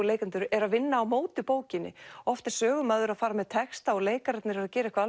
leikendur eru að vinna á móti bókinni oft er sögumaður að fara með texta og leikararnir eru að gera eitthvað